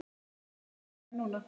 Mig langar að hlæja núna.